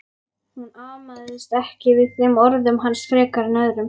Hún amaðist ekki við þeim orðum hans frekar en öðrum.